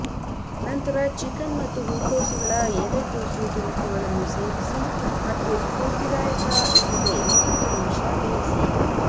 ನಂತರ ಚಿಕನ್ ಮತ್ತು ಹೂಕೋಸುಗಳ ಎಲೆಕೋಸು ತುಣುಕುಗಳನ್ನು ಸೇರಿಸಿ ಮತ್ತು ಸ್ಫೂರ್ತಿದಾಯಕ ಇಲ್ಲದೆ ಮೂವತ್ತು ನಿಮಿಷ ಬೇಯಿಸಿ